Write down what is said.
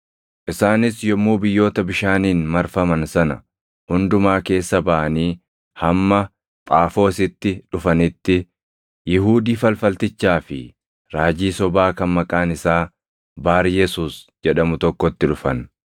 Isaanis yommuu biyyoota bishaaniin marfaman sana hundumaa keessa baʼanii hamma Phaafoositti dhufanitti, Yihuudii falfaltichaa fi raajii sobaa kan maqaan isaa Baaryesuus jedhamu tokkotti dhufan.